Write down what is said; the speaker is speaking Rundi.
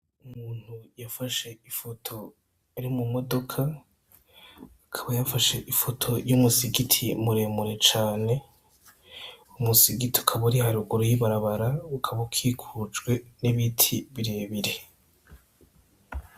Umuntu yafashe ifoto ari mu modoka, akaba yafashe ifoto y'umusigiti muremure cane, umusigiti ukaba uri haruguru y'ibarabara ukaba ukikujwe n'ibiti birebire.